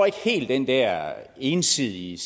ikke helt den der ensidige